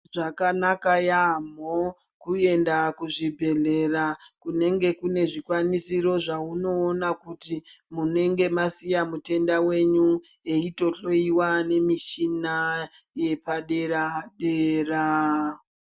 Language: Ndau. Zvakanaka yambo kuenda kuzvibhedhleya kunenge kune zvikwanisiro zvaunoona kuti munenge masiya mutenda wenyu eitohloyiwa pamichina yepadera dera.